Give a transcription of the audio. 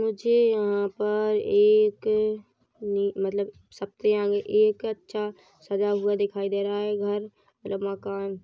मुझे यहां पर एक मत्लब एक अच्छा सजा हुआ दिखाई दे रहा है घर मकान